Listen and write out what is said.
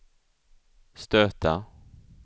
stöta